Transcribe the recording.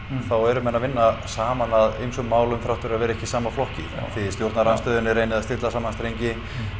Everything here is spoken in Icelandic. þá eru menn að vinna saman að ýmsum málum þrátt fyrir að vera ekki í sama flokki þið í stjórnarandstöðunni reynið að stilla saman strengi